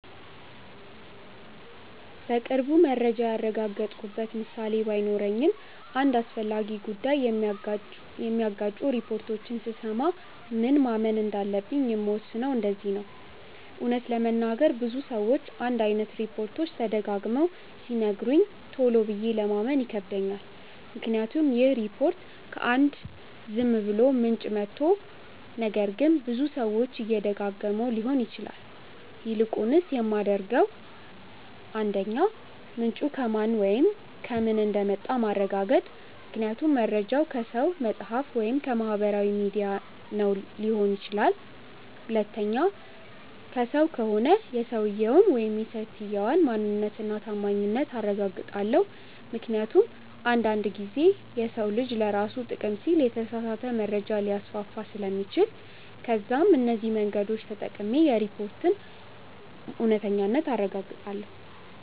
በቅርቡ መረጃ ያረጋገጥኩበት ምሳሌ ባይኖረኝም አንድ አስፈላጊ ጉዳይ የሚጋጩ ሪፖርቶችን ስሰማ ምን ማመን እንዳለብኝ የምወስነው እንደዚህ ነው :- እውነት ለመናገር ብዙ ሰዎች አንድ አይነት ሪፖችት ደጋግመው ሲነግሩኝ ቶሎ ብዬ ለማመን ይከብደኛል ምክንያቱም ይህ ሪፖርት ከ አንድ ዝም ብሎ ምንጭ መቶ ነገር ግን ብዙ ሰዎች እየደጋገመው ሊሆን ይችላል። ይልቁንስ የማደርገው 1. ምንጩ ከማን ወይም ከምን እንደመጣ ማረጋገጥ ምክንያቱም መርጃው ከሰው፣ መፅሐፍ ወይም ከማህበራዊ ሚዲያ ነው ሊሆን ይችላል። 2. ከሰው ከሆነ የሰውየውን/ የሰትየዋን ማንነት እና ታማኝነት አረጋግጣለው ምክንያቱም አንድ አንድ ጊዜ የሰው ልጅ ለራሱ ጥቅም ሲል የተሳሳተ መረጃ ሊያስፋፋ ስለሚችል። ከዛም እነዚህ መንገዶች ተጠቅሜ የሪፖርቱን እውነተኛነት አረጋግጣለው።